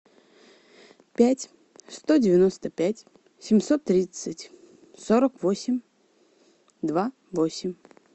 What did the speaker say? пять сто девяносто пять семьсот тридцать сорок восемь два восемь